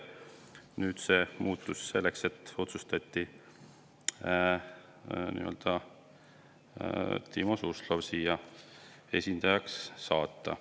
Nüüd see muutus ja otsustati Timo Suslov siia esindajaks saata.